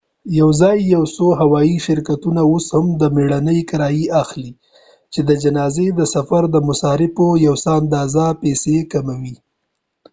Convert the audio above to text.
یواځې یو څو هوایي شرکتونه اوس هم د مړینې کرایه اخلي چې د جنازې د سفر د مصارفو یو څه اندازه پیسې کموي